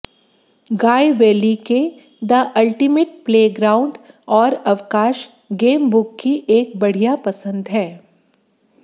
गाय Bailey के the ultimate playground और अवकाश गेम बुक की एक बढ़िया पसंद है